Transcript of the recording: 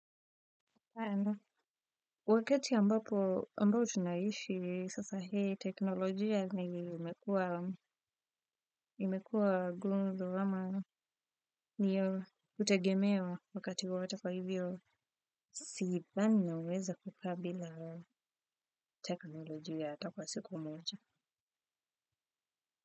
Wakati ambapo, ambao tunaishi, sasa hii teknolojia ni imekuwa, imekuwa gumzo ama ndiyo utegemeo wakati wowote kwa hivyo, sidhani naweza kukaa bila teknolojia itakuwa siku moja.